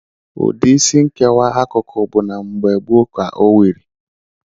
Ụdị Isí nkewa akụkụ bụ na mgbe gboo ka o wiri.